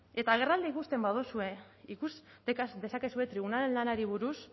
eta agerraldia ikusten baduzue ikusi eta ikasi dezakezue tribunalen lanari buruz